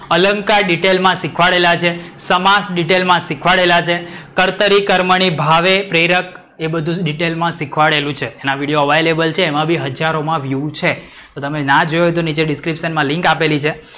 અલંકાર detail માં સિખવાડેલા છે, સમાષ detail માં સિખવાડેલા છે, કર્તરી, કર્મની, ભાવે, પ્રેરક એ બધુ detail માં સિખવાડેલુ છે. એના વિડિયો available છે. એમ બી હજારો માં વ્યૂ છે. તો તમે ના જોયું હોય તો નીચે description માં લિન્ક આપેલી છે.